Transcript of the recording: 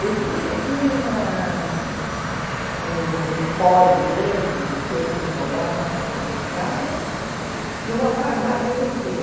Eu tinha tinha uma um empório grande de secos e molhados na frente de casa e uma farmácia na esquina.